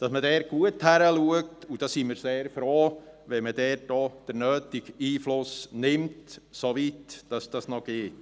Man muss dort gut hinschauen, und da sind wir sehr froh, wenn man dort auch den nötigen Einfluss nimmt, soweit das noch geht.